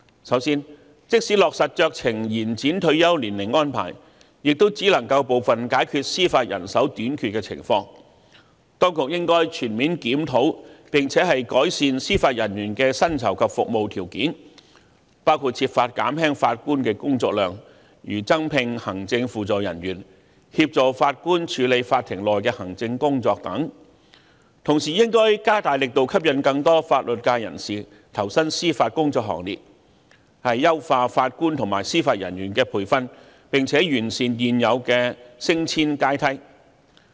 首先，即使落實酌情延展退休年齡安排，亦只能夠解決部分司法人手短缺的情況，因此當局應該全面檢討，並且改善司法人員的薪酬及服務條件，包括設法減輕法官的工作量，例如增聘行政輔助人員協助法官處理法庭內的行政工作等；同時亦應該加大力度，吸引更多法律界人士投身司法工作行列，優化法官及司法人員的培訓，並且完善現有的升遷階梯。